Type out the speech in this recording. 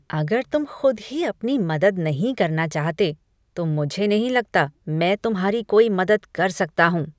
अगर तुम खुद ही अपनी मदद नहीं करना चाहते, तो मुझे नहीं लगता मैं तुम्हारी कोई मदद कर सकता हूँ।